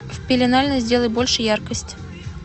в пеленальной сделай больше яркость